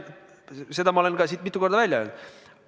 Seda ma olen ka siin mitu korda välja öelnud.